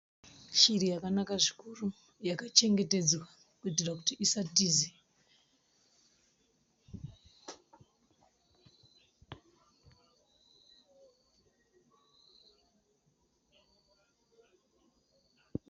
Shiri yakanaka zvikuru yakachengetedzwa kuitira kuti isatize.